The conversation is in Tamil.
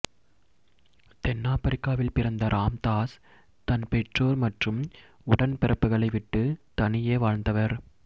தென்னாப்பிரிக்காவில் பிறந்த ராம்தாஸ் தன் பெற்றோர் மற்றும் உடன் பிறப்புகளை விட்டு தனியே வாழ்ந்தவர்